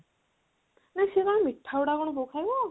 ନା ସେ କଣ ମିଠା ଗୁଡା ବୋଉ ଖାଇବ